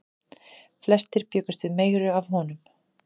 Flestir bjuggust við meiru af honum.